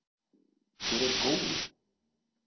Hver er Gói?